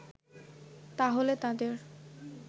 তাহলে তাদের